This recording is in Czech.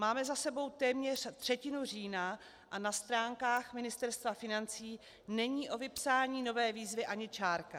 Máme za sebou téměř třetinu října a na stránkách Ministerstva financí není o vypsání nové výzvy ani čárka.